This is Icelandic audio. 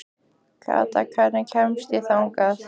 Kata, hvernig kemst ég þangað?